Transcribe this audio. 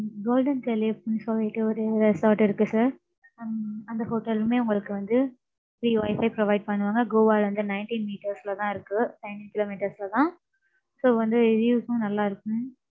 golden califf ன்னு சொல்லிட்டு, ஒரு resort இருக்கு, sir உம் அந்த hotel லுமே, உங்களுக்கு வந்து free wifi provide பண்ணுவாங்க. Goa ல இருந்து, nineteen meters ல தான் இருக்கு. ten kilometers ல தான். So வந்து views உம் நல்லா இருக்கும்.